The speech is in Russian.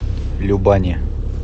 любани